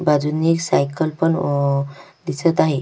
बाजुंनी सायकल पण अ दिसत आहे.